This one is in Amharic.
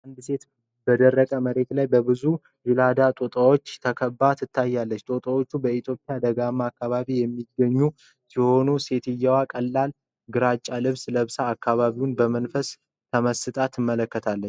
አንዲት ሴት በደረቅ መሬት ላይ በብዙ ዥላዳ ጦጣዎች ተከባ ትታያለች። ጦጣዎቹ በኢትዮጵያ ደጋማ አካባቢዎች የሚገኙ ሲሆን ፣ ሴትዮዋም ቀላል ግራጫ ልብስ ለብሳ አካባቢውን በመንፈስ ተመስጣ ትመለከታለች።